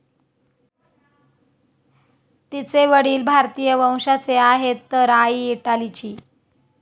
तिचे वडील भारतीय वंशाचे आहेत तर आई इटालीची.